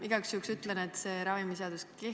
Igaks juhuks ütlen, et see ravimiseadus juba kehtib.